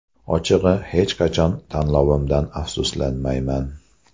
Ochig‘i, hech qachon tanlovimdan afsuslanmayman.